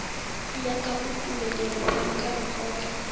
nyakago tumelelo bjalo ka lekgotla